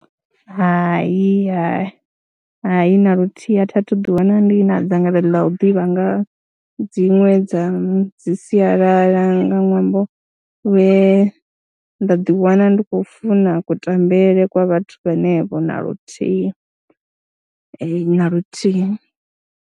Hai, hai, hai, na luthihi a thi a thu ḓiwana ndi na dzangalelo ḽa u ḓivha nga ha dziṅwe dza dzi sialala nga ṅwambo we nda ḓiwana ndi khou funa kutambele kwa vhathu vhanevho na luthihi na luthihi.